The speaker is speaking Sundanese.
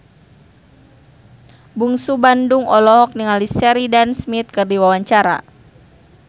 Bungsu Bandung olohok ningali Sheridan Smith keur diwawancara